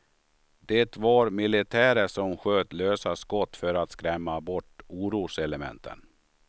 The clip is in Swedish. Det var militärer som sköt lösa skott för att skrämma bort oroselementen.